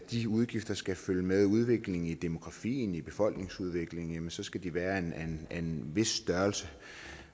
de udgifter skal følge med udviklingen i demografien med befolkningsudviklingen skal de være af en vis størrelse